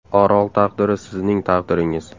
Orol taqdiri sizning taqdiringiz.